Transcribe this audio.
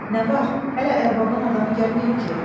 Nə var, hələ ərbabın adamı gəlməyib ki?